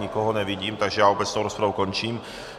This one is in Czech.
Nikoho nevidím, takže já obecnou rozpravu končím.